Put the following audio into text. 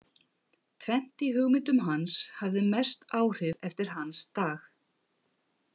Tvennt í hugmyndum hans hafði mest áhrif eftir hans dag.